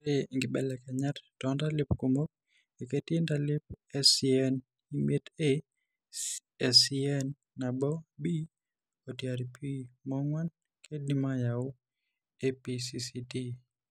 Ore inkibelekenyat toontalip kumok, ketii intalip eSCNimietA, SCNnaboB oTRPMong'uan keidim aayau ePCCD .